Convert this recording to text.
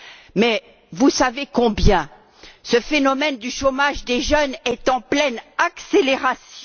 Mais vous savez combien ce phénomène du chômage des jeunes est en pleine accélération.